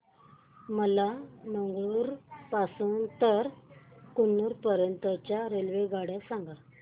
मला मंगळुरू पासून तर कन्नूर पर्यंतच्या रेल्वेगाड्या सांगा